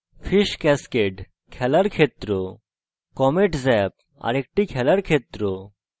fish cascade – খেলার ক্ষেত্র